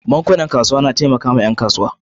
Bankunan kasuwan na taimakawa ƴan kasuwa.